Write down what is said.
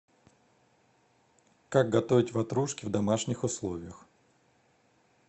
как готовить ватрушки в домашних условиях